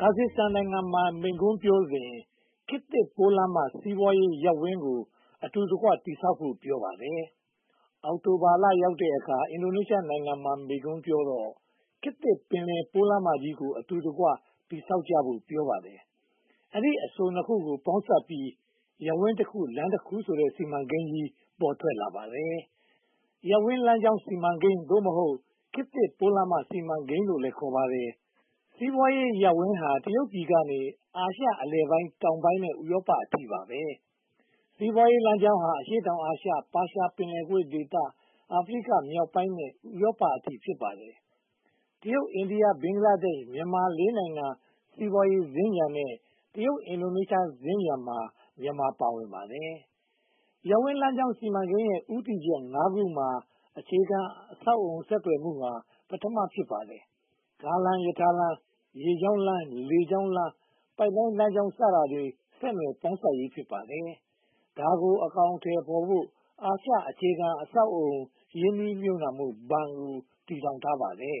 ကာဇတ်စတန်နိုင်ငံမှာ မိန့်ခွန်းပြောစဉ် "ခေတ်သစ်ပိုးလမ်းမ စီးပွားရေးရပ်ဝန်း" ကို အတူတကွ တည်ဆောက်ကြဖို့ကို ပြောပါတယ်။ အောက်တိုဘာလ ရောက်တဲ့အခါ အင်ဒိုနီးရှားနိုင်ငံမှာ မိန့်ခွန်းပြောတော့ "ခေတ်သစ်ပင်လယ်ပိုးလမ်းမကြီး" ကို အတူတကွ တည်ဆောက်ကြဖို့ ပြောပါတယ်။ ဒီအဆိုနှစ်ခုကို ပေါင်းစပ်ပြီး "ရပ်ဝန်းတခု လမ်းတခု" ဆိုတဲ့ စီမံကိန်းကြီး ပေါ်ထွက်လာပါတယ်။ ရပ်ဝန်းလမ်းကြောင်းစီမံကိန်း ခေတ်သစ်ပိုးလမ်းမ စီမံကိန်းလို့လည်း ခေါ်ပါတယ်။ စီးပွားရေးရပ်ဝန်းဟာ တရုတ်ပြည်ကနေ အာရှအလယ်ပိုင်းတောင်ပိုင်းနဲ့ ဥရောပအထိ ဖြစ်ပါတယ်။ စီးပွားရေးလမ်းကြောင်းဟာ အရှေ့တောင်အာရှ၊ ပါးရှားပင်လယ်ကွေ့ဒေသ၊ အာဖရိကမြောက်ပိုင်းနဲ့ ဥရောပအထိ ဖြစ်ပါတယ်။ တရုတ်၊ အိန္ဒိယ၊ ဘင်္ဂလားဒေ့ရှ်၊ မြန်မာ လေးနိုင်ငံ စီးပွားရေးစင်္ကြန်နဲ့ တရုတ်-အင်ဒိုနီးရှားစင်္ကြန်မှာ မြန်မာ ပါဝင်နေပါတယ်။ ရပ်ဝန်းလမ်းကြောင်း စီမံကိန်းရဲ့ ဦးတည်ချက် ခုမှာ အခြေခံအဆောက်အအုံ ဆက်သွယ်မှုဟာ ပထမ ဖြစ်ပါတယ်။ ကားလမ်း၊ ရထားလမ်း၊ ရေကြောင်းလမ်း၊ လေကြောင်းလမ်း၊ ပိုက်လိုင်းလမ်းကြောင်း စတာတွေ ဆက်နွယ်ပေါင်းစပ်ရေး ဖြစ်ပါတယ်။ ဒါကို အကောင်အထည်ဖော်ဖို့ "အာရှအခြေခံ ရင်းနှီးမြုပ်နံှမှုဘဏ်" ကို တည်ထောင်ထားပါတယ်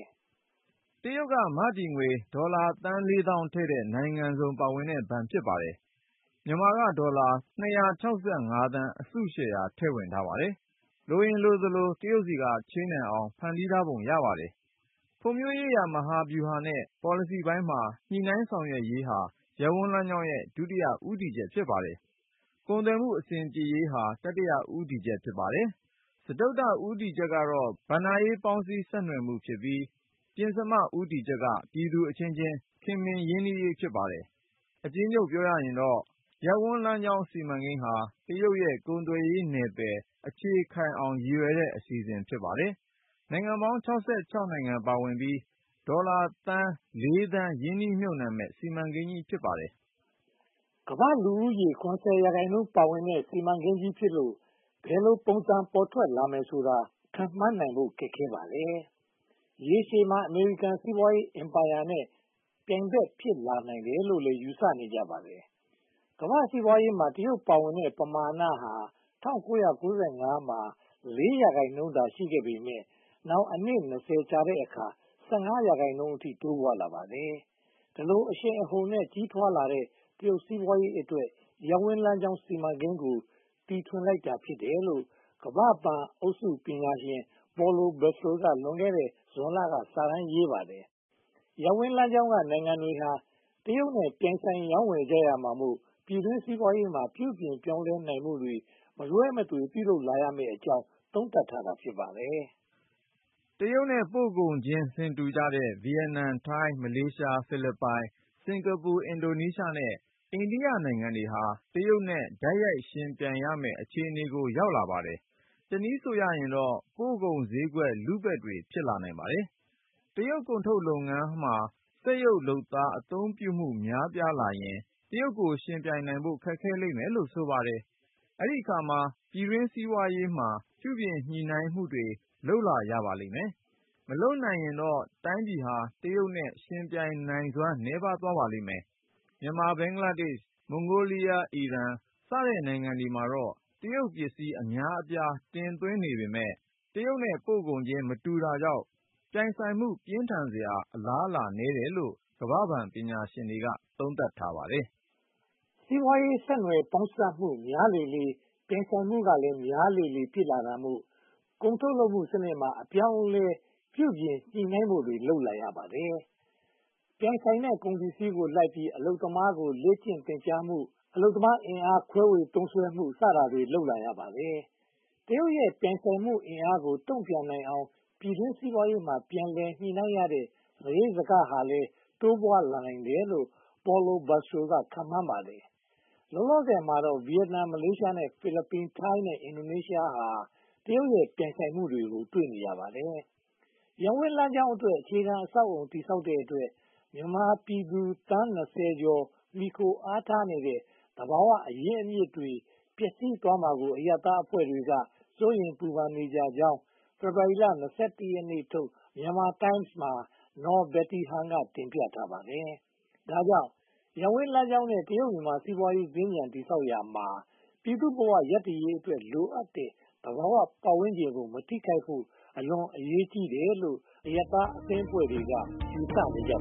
။ တရုတ်နိုင်ငံက မတည်ငွေ ဒေါ်လာသန်းလေးသောင်းထည့်တဲ့ နိုင်ငံစုံပါဝင်တဲ့ဘဏ် ဖြစ်ပါတယ်။ မြန်မာက ဒေါ်လာ သန်း အစုရှယ်ယာ ထည့်ဝင်ထားပါတယ်။ လိုရင်လိုသလို တရုတ်ဆီက ချေးနိုင်အောင် ဖန်တီးထားပုံရပါတယ်။ ဖွံ့ဖြိုးရေးရာမဟာဗျူဟာနဲ့ ပေါ်လစီပိုင်းမှာ ညှိနှိုင်းဆောင်ရွက်ရေးဟာ ရပ်ဝန်းလမ်းကြောင်းရဲ့ ဒုတိယ ဦးတည်ချက် ဖြစ်ပါတယ်။ ကုန်သွယ်မှု အဆင်ပြေရေးဟာ တတိယ ဦးတည်ချက် ဖြစ်ပါတယ်။ စတုတ္ထ ဦးတည်ချက်ဟာ ဘဏ္ဍာရေးပေါင်းစပ်ဆက်နွယ်မှုဖြစ်ပြီး ပဉ္စမ ဦးတည်ချက်က ပြည်သူအချင်းချင်း ခင်မင်ရင်းနှီးရေး ဖြစ်ပါတယ်။ အကျဉ်းချုပ်ပြောရင်တော့ ရပ်ဝန်းလမ်းကြောင်း စီမံကိန်းဟာ တရုတ်ရဲ့ ကုန်သွယ်ရေးနယ်ပယ် အခြေခိုင်အောင် ရည်ရွယ်တဲ့ အစီအစဉ် ဖြစ်ပါတယ်။ နိုင်ငံပေါင်း နိုင်ငံပါဝင်ပြီး ဒေါ်လာ သန်း ရင်းနှီးမြုပ်နံှမယ့် စီမံကိန်းကြီး ဖြစ်ပါတယ်။ ကမ္ဘာ့လူဦးရေ ရာခိုင်နှုန်း ပါဝင်နေတဲ့ စီမံကိန်းကြီးဖြစ်လို့ ဘယ်ပုံစံ ပေါ်ထွက်လာမယ်ဆိုတာ ခန့်မှန်းနိုင်ဖို့ ခက်ခဲပါတယ်။ ရေရှည်မှာ အမေရိကန် စီးပွားရေးအင်ပါရာနဲ့ ပြိုင်ဘက်ဖြစ်လာနိုင်တယ်လို့သာ ယူဆနေကြပါတယ်။ ကမ္ဘာ့စီးပွားရေးမှာ တရုတ်ပါဝင်တဲ့ ပမာဏဟာ ၁၉၉၅ မှာ ရာခိုင်နှုန်းသာရှိခဲ့ပေမယ့် နောက်အနှစ် ကြာတော့ ရာခိုင်နှုန်းအထိ တိုးပွားလာပါတယ်။ ဒီလို အရှိန်အဟုန်နဲ့ ကြီးထွားလာတဲ့ တရုတ်စီးပွားရေးအတွက် ရပ်ဝန်းလမ်းကြောင်း စီမံကိန်းကို တီထွင်လိုက်တာ ဖြစ်တယ်လို့ ကမ္ဘာ့ဘဏ်အုပ်စုပညာရှင် Paulo Bastro က လွန်ခဲ့တဲ့ ဇွန်လမှာ စာတမ်းရေးပါတယ်။ ရပ်ဝနု်းလမ်းကြောင်းက နိုင်ငံတွေဟာ တရုတ်နဲ့ ပြိုင်ဆိုင် ရောင်းဝယ်ကြရမှာမို့ ပြည်တွင်းစီးပွားရေးမှာ ပြုပြင်ညှိနှိုင်းမှုတွေ မလွဲမသွေ လုပ်လာရမယ့်အကြောင်းကို သုံးသပ်ထားတာ ဖြစ်ပါတယ်။ တရုတ်နဲ့ ပို့ကုန်ချင်း ဆင်တူကြတဲ့ ဗိယက်နမ်၊ ထိုင်း၊ မလေးရှား၊ ဖိလစ်ပိုင်၊ စင်္ကာပူ၊ အင်ဒိုနီးရှားနဲ့ အိန္ဒိယနိုင်ငံတွေဟာ တရုတ်နဲ့ တိုက်ရိုက်ယှဉ်ပြိုင်ရမယ့် အခြေအနေကို ရောက်လာပါတယ်။ တနည်းဆိုရင်တော့ ပို့ကုန်ဈေးကွက် လုဘက်တွေ ဖြစ်လာနိုင်ပါတယ်။ တရုတ်ကုန်ထုတ်လုပ်ငန်းမှာ စက်ရုပ်လုပ်သားများ အသုံးပြုမှု များလာရင် တရုတ်ယှဉ်နိုင်ဖို့ ခက်ခဲလိမ့်မယ်လို့ ဆိုပါတယ်။ အဲဒီအခါမှာ ပြည်တွင်းစီးပွားရေးမှာ ပြုပြင်ညှိနှိုင်းမှုတွေ လုပ်လာရပါလိမ့်မယ်။ မလုပ်နိုင်တဲ့ တိုင်းပြည်ဟာ တရုတ်နဲ့ ယှဉ်ပြိုင်နိုင်စွမ်း နည်းပါးသွားပါလိမ့်မယ်။ မြန်မာ၊ ဘင်္ဂလားဒေ့ရှ်၊ မွန်ဂိုလီးယား၊ အီရန်စတဲ့ နိုင်ငံတွေမှာတော့ တရုတ်ပစ္စည်း အများအပြား တင်သွင်းနေပေမယ့် တရုတ်နဲ့ ပို့ကုန်ချင်း မတူတာကြောင့် ပြိုင်ဆိုင်မှု ပြင်းထန်စရာ အလားအလာနည်းတယ်လို့ ကမ္ဘာ့ဘဏ် ပညာရှင်က သုံးသပ်ပါတယ်။ စီးပွားရေး ဆက်နွယ်ပေါင်းစပ်မှုများလေလေ ပြိုင်ဆိုင်မှုကလည်း များလာလေလေ ဖြစ်လာတာမို့ ကုန်ထုတ်လုပ်မှုစနစ်မှာ အပြောင်းအလဲ ပြုပြင်ညှိနှိုင်းမှုတွေ လုပ်လာရပါတယ်။ ပြိုင်ဆိုင်တဲ့ ကုန်ပစ္စည်းကိုလိုက်ပြီး အလုပ်သမားကို လေ့ကျင့်သင်ကြာမှု၊ အလုပ်သမား အင်အားခွဲဝေသုံးစွဲမှု စတာတွေ လုပ်လာရပါတယ်။ တရုတ်ရဲ့ ပြိုင်ဆိုင်မှုအင်အားကို တုံ့ပြန်နိုင်အောင် ပြည်တွင်းစီးပွားရေးမှာ ပြုပြင်ညှိနှိုင်းရတဲ့ စရိတ်စခက တိုးပွားလာနိုင်တယ်လို့ Paulo Bastro က ခန့်မှန်းပါတယ်။ လောလောဆယ်မှာတော့ ဗိယက်နမ်၊ မလေးရှား၊ ဖိလစ်ပိုင်၊ ထိုင်း နဲ့ အင်ဒိုနီးရှားဟာ တရုတ်ရဲ့ ပြိုင်ဆိုင်မှုနဲ့ တွေ့နေပါတယ်။ ရပ်ဝန်းလမ်းကြောင်းအတွက် အခြေခံအဆောက်အအုံ တည်ဆောက်တဲ့အတွက် မြန်မာပြည်သူ သန်း ကျော် မှီခိုအားထားနေတဲ့ သဘာဝအရင်းအမြစ်တွေ ပျက်စီးသွားမှာကို အရပ်သားအဖွဲ့တွေက စိုးရိမ်ပူပန်နေကြကြောင်း ဖေဖေါ်ဝါရီလ ရက်နေ့ထုတ် Myanmar Times မှာ Naw Betty Han က တင်ပြထားပါတယ်။ ဒါကြောင့် ရပ်ဝန်းလမ်းကြောင်းနဲ့ တရုတ်-မြန်မာ စီးပွားရေးစင်္ကြန် တည်ဆောက်ရာမှာ ပြည်သူ့ဘဝရပ်တည်ရေးအတွက် လိုအပ်တဲ့ သဘာဝပတ်ဝန်းကျင်ကို မထိခိုက်ဖို့ အလွန်အရေးကြီးတယ်လို့ အရပ်သားအသင်းအဖွဲ့တွေက ယူဆကြပါ